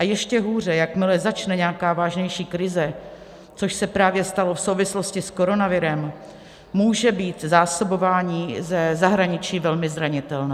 A ještě hůře, jakmile začne nějaká vážnější krize, což se právě stalo v souvislosti s koronavirem, může být zásobování ze zahraničí velmi zranitelné.